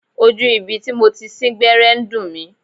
Ojú ibi tí mo ti sín gbẹ́rẹ́ ń dùn mí.